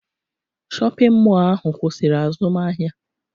Shọpịn mọọ ahụ kwụsịrị azụmahịa